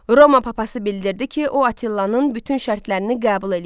Roma papası bildirdi ki, o Attilanın bütün şərtlərini qəbul eləyir.